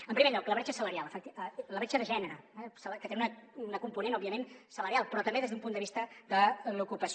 en primer lloc la bretxa salarial la bretxa de gènere eh que té un component òbviament salarial però també des d’un punt de vista de l’ocupació